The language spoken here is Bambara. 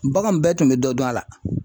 Baganw bɛɛ tun bɛ dɔ dun a la.